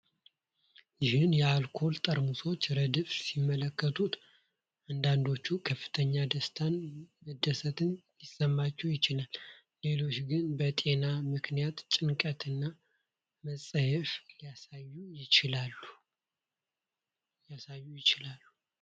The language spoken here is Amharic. ይህን የአልኮል ጠርሙሶች ረድፍ ሲመለከቱ አንዳንዶች ከፍተኛ ደስታንና መደሰትን ሊሰማቸው ይችላል። ሌሎች ግን በጤና ምክንያት ጭንቀትን እና መጸየፍን ሊያሳዩ ይችላሉ።